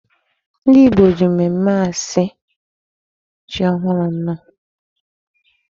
Ndị Igbo ji mmemmé asị ji ohụrụ nnọọ.